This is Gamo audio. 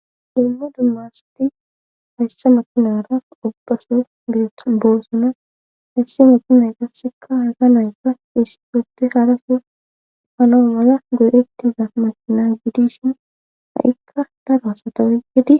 dumma dumma asati hayssa makunara uqasu gi boossona hissi meti nayka shikka hayka nayka hissi suppe harasu hanoo mala guyettiza mashina gidishin ha7ikka daro satowoy gidi